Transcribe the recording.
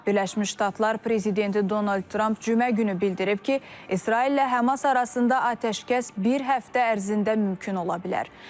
Birləşmiş Ştatlar prezidenti Donald Tramp cümə günü bildirib ki, İsraillə Həmas arasında atəşkəs bir həftə ərzində mümkün ola bilər.